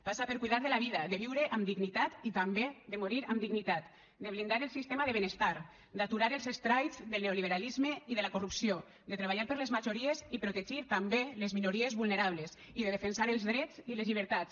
passa per cuidar de la vida de viure amb dignitat i també de morir amb dignitat de blindar el sistema de benestar d’aturar els estralls del neoliberalisme i de la corrupció de treballar per les majories i protegir també les minories vulnerables i de defensar els drets i les llibertats